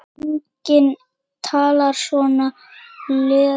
Enginn talar svona lengur.